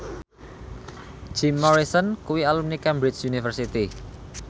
Jim Morrison kuwi alumni Cambridge University